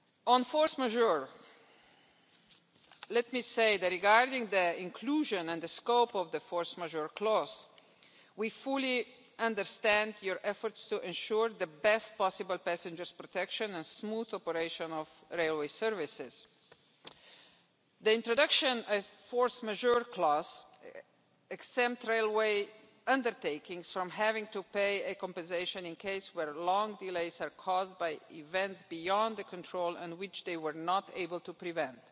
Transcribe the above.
On force majeure let me say that, regarding the inclusion and the scope of the force majeure clause, we fully understand your efforts to ensure the best possible passenger protection and smooth operation of railway services. The introduction of the force majeure clause exempts railway undertakings from having to pay compensation where long delays are caused by events beyond their control and which they were not able to prevent.